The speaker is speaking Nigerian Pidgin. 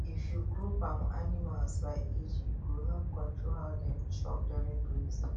if you group um animals by age e go help control how dem chop during grazing